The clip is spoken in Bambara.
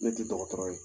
Ne tɛ dɔgɔtɔrɔ ye